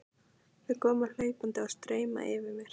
Þau koma hlaupandi og stumra yfir mér.